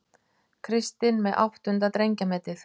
Kristinn með áttunda drengjametið